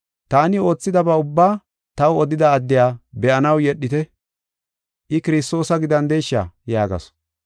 “Taani oothidaba ubbaa taw odida addiya be7anaw yedhite. I Kiristoosa gidandesha?” yaagasu.